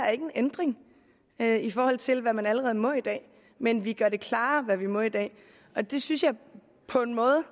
er en ændring i forhold til hvad man allerede må i dag men vi gør det mere klart hvad vi må i dag det synes jeg på en måde